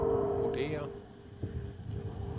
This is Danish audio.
vurderer